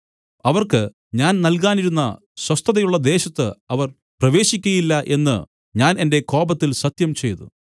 അവർക്ക് ഞാൻ നൽകാനിരുന്ന സ്വസ്ഥതയുള്ള ദേശത്ത് അവർ പ്രവേശിക്കയില്ല എന്നു ഞാൻ എന്റെ കോപത്തിൽ സത്യംചെയ്തു